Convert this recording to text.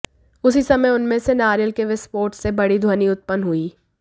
उसी समय उनमें से नारियल के विस्फोट से बडी ध्वनि उत्पन्न हुई